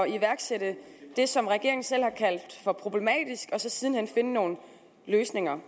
iværksætte det som regeringen selv har kaldt for problematisk og så siden hen finde nogle løsninger